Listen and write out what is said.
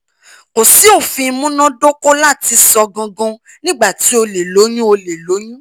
ko si ofin munadoko lati sọ gangan nigba ti o le loyun o le loyun